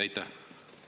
Aitäh!